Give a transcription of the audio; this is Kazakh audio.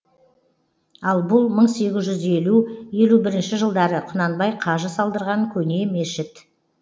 ал бұл мың сегіз жүз елу елу бірінші жылдары құнанбай қажы салдырған көне мешіт